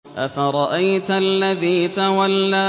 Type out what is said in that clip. أَفَرَأَيْتَ الَّذِي تَوَلَّىٰ